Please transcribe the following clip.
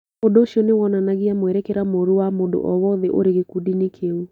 Ũndũ ũcio nĩ wonanagia mwerekera mũũru wa mũndũ o wothe ũrĩ gĩkundi-inĩ kĩu.